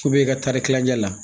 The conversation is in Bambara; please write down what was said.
i ka taari kilancɛ la